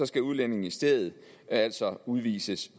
skal udlændingen i stedet altså udvises